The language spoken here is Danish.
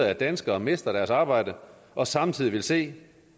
at danskere mister deres arbejde og samtidig vil se